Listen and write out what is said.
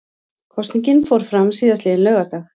Kosningin fór fram síðastliðinn laugardag